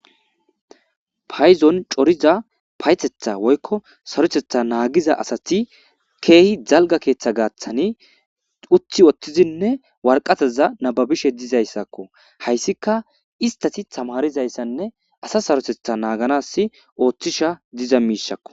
Payzon coriza payetetha woykko sarotetha naagiza asati keehi jalga keeththa gaaththani uthi oththizinne warqataza nababishe dizayssakko hayssika istati tamarizayssanne asa sarotetha naaganas ooththisha diza miishakko